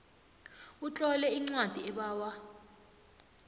utlole incwadi ebawa